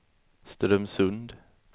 Strömsund